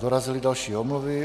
Dorazily další omluvy.